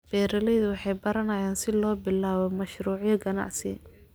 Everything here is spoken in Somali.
Beeraleydu waxay baranayaan sida loo bilaabo mashruucyo ganacsi.